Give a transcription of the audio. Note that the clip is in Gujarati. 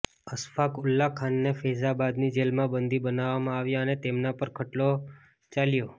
અશફાક ઊલ્લા ખાનને ફૈઝાબાદની જેલમાં બંદી બનાવવામાં આવ્યા અને તેમના પર ખટલો ચાલ્યો